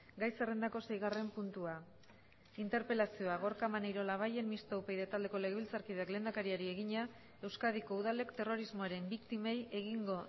gai zerrendako seigarren puntua interpelazioa gorka maneiro labayen mistoa upyd taldeko legebiltzarkideak lehendakariari egina euskadiko udalek terrorismoaren biktimei egingo